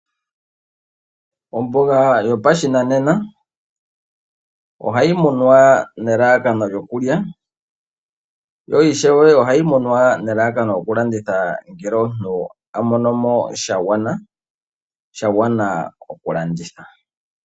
Omboga yopashinanena, ohayi munwa nelalakano lyokulya, yo ishewe ohayi munwa nelalakano lyoku landitha ngele omuntu a mono mo sha gwana okulanditha.